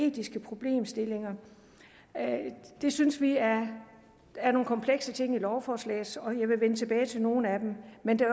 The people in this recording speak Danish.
etiske problemstillinger det synes vi er er nogle komplekse ting i lovforslaget og jeg vil vende tilbage til nogle af dem men det